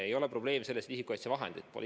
Ei ole probleem selles, et isikukaitsevahendeid pole.